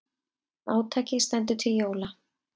Átakið stendur til jóla.